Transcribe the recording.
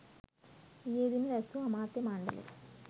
ඊයේදින රැස්වූ අමාත්‍ය මණ්ඩලය